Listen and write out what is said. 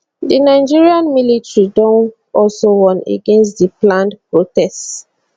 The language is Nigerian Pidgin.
di nigerian militarydon also warn against di planned protest